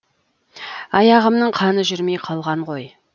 аяғымның қаны жүрмей қалған ғой